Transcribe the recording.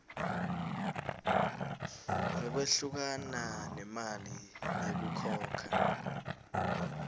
ngekwehlukana nemali yekukhokha